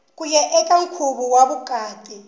kuya eka nkhuvo wa vukati